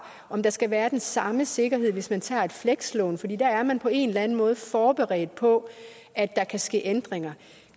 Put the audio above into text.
om der skal være den samme sikkerhed hvis man tager et flekslån for der er man på en eller anden måde forberedt på at der kan ske ændringer